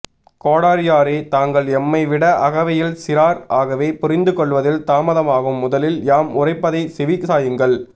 கோடரியாரே தாங்கள் எம்மைவிட அகவையில் சிறார் ஆகவே புரிந்து கொள்வதில் தாமதமாகும் முதலில் யாம் உரைப்பதை செவி சாயுங்கள்